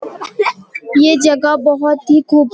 ये जगह बोहोत ही खूब --